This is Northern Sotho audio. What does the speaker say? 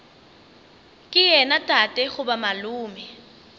ke yena tate goba malome